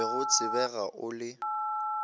be o lebega o le